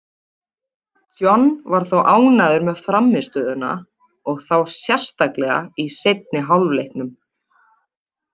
John var þó ánægður með frammistöðuna, og þá sérstaklega í seinni hálfleiknum.